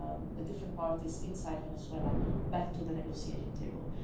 the different parties inside Venezuela back to the negotiating table.